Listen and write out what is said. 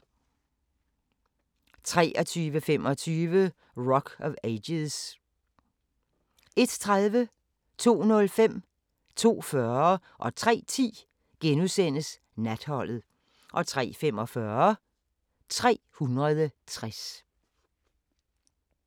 23:25: Rock of Ages 01:30: Natholdet * 02:05: Natholdet * 02:40: Natholdet * 03:10: Natholdet * 03:45: 360